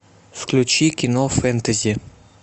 включи кино фэнтези